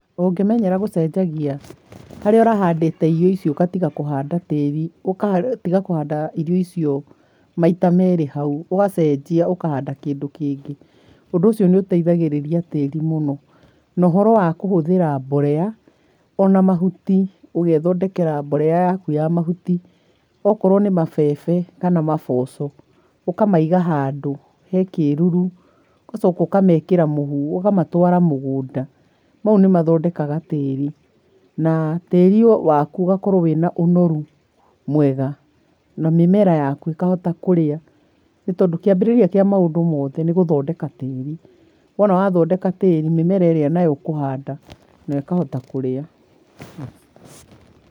Ũngĩmenyera gũcenjagia, harĩa ũrahandĩte irio icio ũgatiga kũhanda tĩri ũgatiga kũhanda irio icio maita merĩ hau, ũgacenjia ũkahanda kĩndũ kingĩ, ũndũ ũcio nĩũteithagĩrĩria tĩri mũno. Na ũhoro wa kũhũthĩra mborera ona mahuti ũgethondekera borera yaku ya mahuti, okorwo nĩ mabebe kana maboco ũkamaiga handũ he kĩruru, ũgacoka ũkamekĩra mũhu, ũkamatwĩra mũgũnda. Mau nĩmathondekaga tĩri na tĩri waku ũgakorwo wĩna ũnoru mwega, na mĩmera yaku ĩkahota kũrĩa nĩtondũ kĩambĩrĩria kĩa maũndũ mothe nĩgũthondeka tĩri. Wona wathondeka tĩri mĩmera ĩrĩa nayo ũkũhanda nayo ĩkahota kũrĩa.